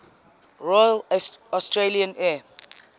royal australian air